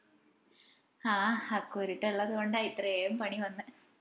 ആഹ് ആ കുരുട്ട് ഇള്ളതുകൊണ്ടാ ഇത്രയും പണി വന്നേ